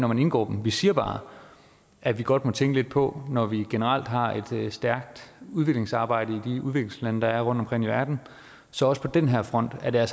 man indgår dem vi siger bare at vi godt må tænke lidt på at når vi generelt har et stærkt udviklingsarbejde i de udviklingslande der er rundtomkring i verden så også på den her front er